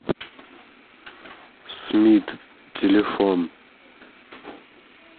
смит телефон